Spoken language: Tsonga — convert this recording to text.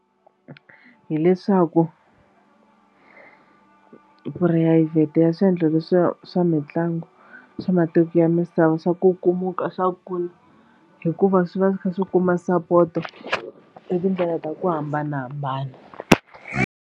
Hileswaku purayivhete ya swiendlo leswiwa swa mitlangu swa matiko ya misava swa kukumuka swa kula hikuva swi va swi kha swi kuma sapoto hi tindlela ta ku hambanahambana.